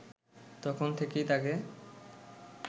তখন থেকেই তাকে